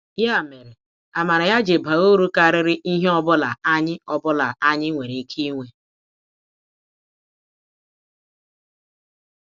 Ya mere, amara ya ji baa uru karịrị ihe ọ bụla anyị ọ bụla anyị nwere ike inwe.